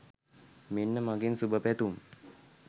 මෙන්න මගෙන් සුභපැතුම්